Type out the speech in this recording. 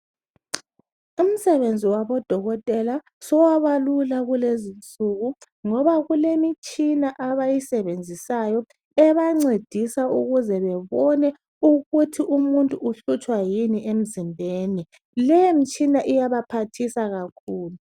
imsebenzi wabo dokotela sowaba lula kulezinsuku ngoba kulemitshina abayisebenzisayo ebencedisa ukuze bebone ukuthi umuntu uhlutshwa yini emzimbeni leyo mitshia iyabaphathisa kakhulu